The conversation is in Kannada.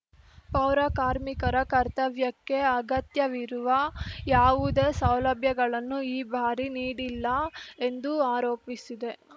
ಪೌರ ಕಾರ್ಮಿಕರ ಕರ್ತವ್ಯಕ್ಕೆ ಅಗತ್ಯವಿರುವ ಯಾವುದೇ ಸೌಲಭ್ಯಗಳನ್ನು ಈ ಬಾರಿ ನೀಡಿಲ್ಲ ಎಂದು ಆರೋಪಿಸಿದೆ